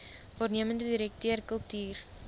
waarnemende direkteur kultuur